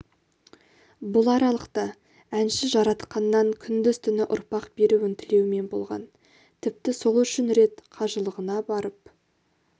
бұл аралықта әнші жаратқаннан күндіз-түні ұрпақ беруін тілеумен болған тіпті сол үшін рет қажылығына барып